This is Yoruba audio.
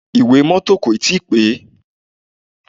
Ìwé mọ́tọ̀ kò tíì pé.